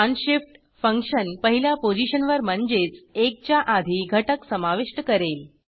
unshift function पहिल्या पोझिशनवर म्हणजेच 1 च्या आधी घटक समाविष्ट करेल